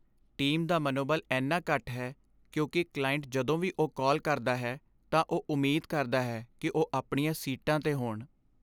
Team ਦਾ ਮਨੋਬਲ ਇੰਨਾ ਘੱਟ ਹੈ ਕਿਉਂਕਿ ਕਲਾਇੰਟ ਜਦੋਂ ਵੀ ਉਹ ਕਾਲ ਕਰਦਾ ਹੈ ਤਾਂ ਉਹ ਉਮੀਦ ਕਰਦਾ ਹੈ ਕਿ ਉਹ ਆਪਣੀਆਂ ਸੀਟਾਂ 'ਤੇ ਹੋਣ।